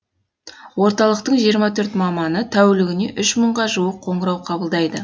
орталықтың жиырма төрт маманы тәулігіне үш мыңға жуық қоңырау қабылдайды